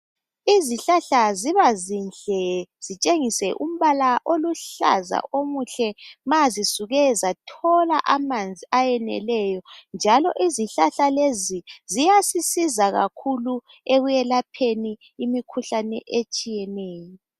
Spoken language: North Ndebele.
Izihlahla ziba zinhle zitshengise umbala oluhlaza omuhle ma zisuke zathola amanzi ayeneleyo njalo izihlahla lezi ziyasisiza kakhulu ekwelapheni imikhuhlane etshiyeneyo.